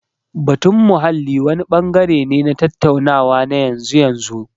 Batun muhalli wani bangare ne na tattaunawa na yanzu. yanzu